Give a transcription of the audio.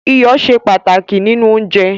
Iyọ̀ ṣe pàtàkì nínú oúnjẹ